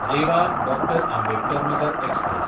Rewa Dr. Ambedkar Nagar express